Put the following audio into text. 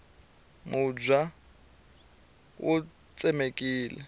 mubya wu tsemekile